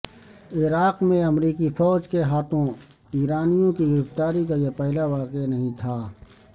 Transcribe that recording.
عراق میں امریکی فوج کے ہاتھوں ایرانیوں کی گرفتاری کا یہ پہلا واقعہ نہیں تھا